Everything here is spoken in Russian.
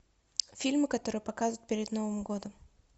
фильмы которые показывают перед новым годом